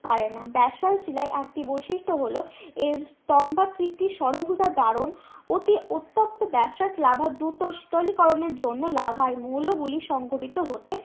পারে না ব্যাসল্ট শিলার একটি বৈশিষ্ট হলো এর স্থম্ভাকৃতি ষড়ভুজা দারণ অতি উত্তপ্ত ব্যাসল্ট লাভা দূত শীতল করণের জন্য লাভায় মৌল গুলি সংগঠিত হতে